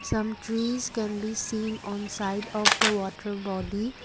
some trees can be seen on side of the water body.